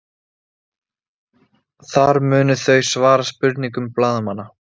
Þar munu þau svara spurningum blaðamanna